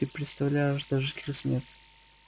ты представляешь даже крыс нет